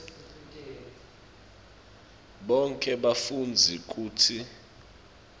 bonkhe bafundzi kutsi